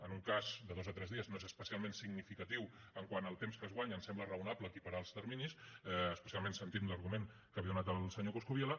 en un cas de dos a tres dies no és especialment significatiu quant al temps que es guanya em sembla raonable equiparar els terminis especialment sentint l’argument que avui ha donat el senyor coscubiela